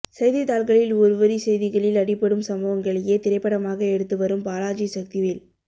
செய்தித் தாள்களில் ஒருவரி செய்திகளில் அடிபடும் சம்பவங்களையே திரைப்படமாக எடுத்து வரும் பாலாஜிசக்திவேல்